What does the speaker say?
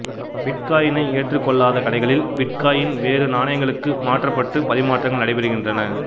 பிட்காயினை ஏற்றுக் கொள்ளாத கடைகளில் பிட்காயின் வேறு நாணயங்களுக்கு மாற்றப் பட்டு பரிமாற்றங்கள் நடைபெறுகின்றன